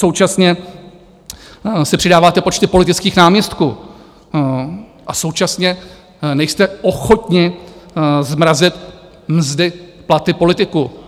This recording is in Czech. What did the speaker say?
Současně si přidáváte počty politických náměstků a současně nejste ochotni zmrazit mzdy, platy politiků.